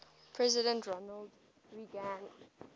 president ronald reagan